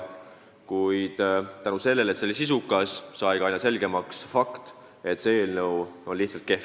Kuid tänu sellele, et arutelu oli sisukas, sai ka aina selgemaks fakt, et eelnõu on lihtsalt kehv.